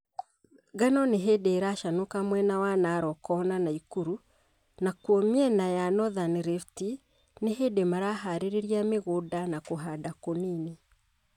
Ngano nĩhĩndĩ ĩracanũka mwena wa Narok na Naikuru nakuo mĩena ya Northern rift nĩhĩndi maraharĩria mĩgũnda na kũhanda kũnini